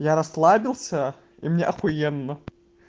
я расслабился и мне ахуенно